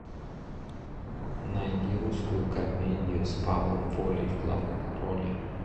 найди русскую комедию с павлом волей в главной роли